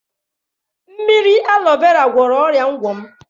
Mmiri alọ vera gwọrọ ọrịa ngwọ m.